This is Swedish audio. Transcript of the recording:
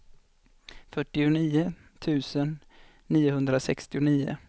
fyrtionio tusen niohundrasextionio